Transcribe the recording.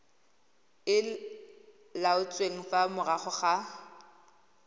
e laotsweng fa morago ga